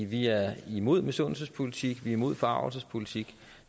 vi er imod misundelsespolitik vi er imod forargelsespolitik